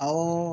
Awɔ